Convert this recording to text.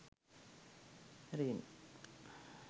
ring